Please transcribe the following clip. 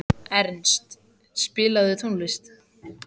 Ernst, spilaðu tónlist.